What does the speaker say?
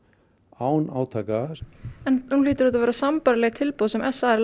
án átaka nú hljóta þetta að vera sambærileg tilboð sem s a er